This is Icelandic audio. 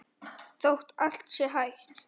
Þótt allt sé hætt?